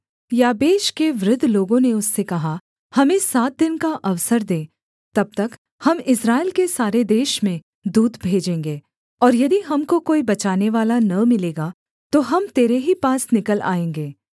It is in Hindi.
याबेश के वृद्ध लोगों ने उससे कहा हमें सात दिन का अवसर दे तब तक हम इस्राएल के सारे देश में दूत भेजेंगे और यदि हमको कोई बचानेवाला न मिलेगा तो हम तेरे ही पास निकल आएँगे